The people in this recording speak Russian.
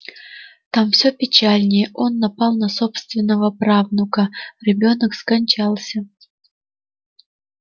там все печальнее он напал на собственного правнука ребёнок скончался